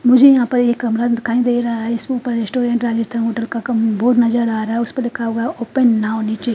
मुझे यहां पर एक कमरा दिखाई दे रा है इसके ऊपर रेस्टुरेंट राजस्थान होटल का कम बोर्ड नजर आ रा है उसपे लिखा हुआ है ओपन नाव नीचे--